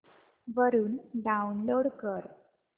वरून डाऊनलोड कर